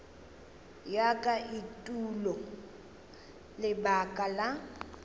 ya ka etulo lebaka la